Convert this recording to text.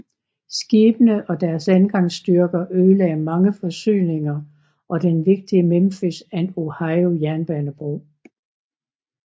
Skibene og deres landgangsstyrker ødelagde mange forsyninger og den vigtige Memphis and Ohio jernbanebro